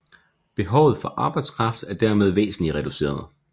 Behovet for arbejdskraft er dermed væsentlig reduceret